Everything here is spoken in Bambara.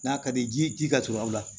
N'a ka di ye ji ka surun aw la